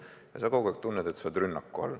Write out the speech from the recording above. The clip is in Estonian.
Aga sa kogu aeg tunned, et sa oled rünnaku all.